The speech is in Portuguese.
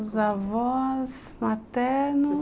Meus avós... maternos...